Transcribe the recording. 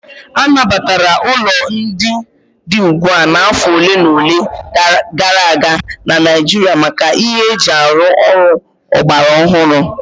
A nabatara ụlọ ndị dị ugbu a afọ ole na ole gara aga na Naịjirịa maka ihe eji arụ ọrụ ọgbara ọhụrụ